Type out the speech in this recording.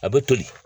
A bɛ toli